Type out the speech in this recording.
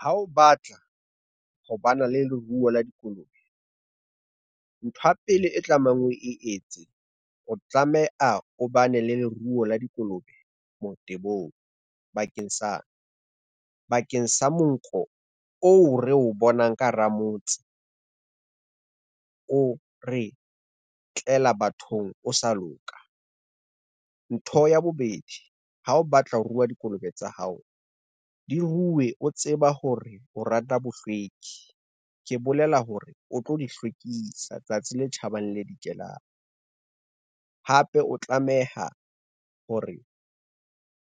Ha o batla ho bana le leruo la dikolobe, ntho ya pele e tlamehang o e etse, o tlamea o bane le leruo la dikolobe motebong, bakeng sa monkgo oo re o bonang ka hara motse, o re tlela bathong o sa loka. Ntho ya bobedi, ha o batla ho ruwa dikolobe tsa hao di ruwe, o tseba hore o rata bohlweki, ke bolela hore o tlo di hlwekisa tsatsi le tjhabang le le dikelang. Hape o tlameha hore